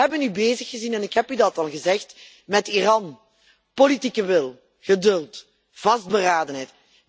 Maar we hebben u bezig gezien en ik heb u dat al gezegd met Iran politieke wil, geduld, vastberadenheid.